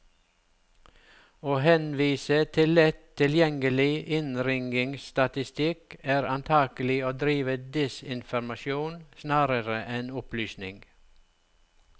Å henvise til lett tilgjengelig innringningsstatistikk, er antagelig å drive desinformasjon snarere enn opplysning.